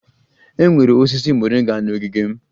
E nwere osisi moringa n'ogige m